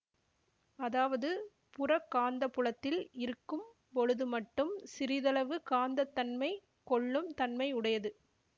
அதாவது புறக் காந்தப்புலத்தில் இருக்கும் பொழுதுமட்டும் சிறிதளவு காந்தத்தன்மை கொள்ளும் தன்மை உடையது